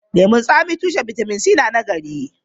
Lemun tsami tushen bitamin C na nagari.